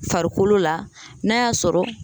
Farikolo la n'a y'a sɔrɔ